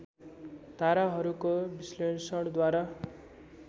ताराहरूको विश्लेषणद्वारा